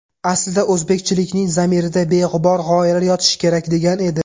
Aslida, o‘zbekchilikning zamirida beg‘ubor g‘oyalar yotishi kerak”, degan edi.